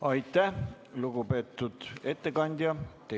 Aitäh, lugupeetud ettekandja!